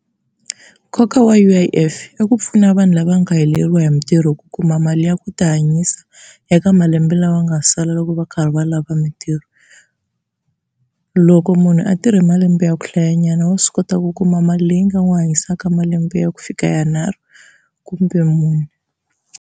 Nkoka wa U_I_F i ku pfuna vanhu lava nga heleriwa hi mintirho ku kuma mali ya ku tihanyisa eka malembe lama nga sala loko va karhi va lava mintirho. Loko munhu a tirhe malembe ya ku hlayanyana wa swi kota ku kuma mali leyi nga n'wi hanyisaka malembe ya ku fika yanharhu kumbe mune.